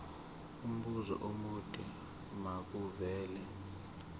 umbuzo omude makuvele